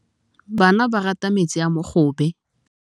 Bana ba rata metsi a mogobe.